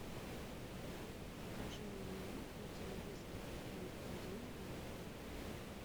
покажи мне на телевизоре м один глобал